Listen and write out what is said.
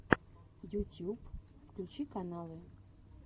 ютьюб включи каналы